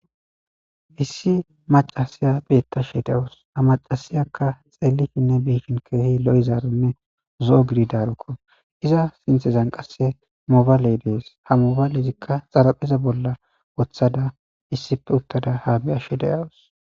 Issi macasiya beettashe dewos ha macasiyakka xeelifinne biishin keehi lo7izaaronne zo7o gididarukko iza sinthezan qasse mobaale dees ha mobalezikka xarapheza bolla wothada issippe uttada ha bi ashe deyawus.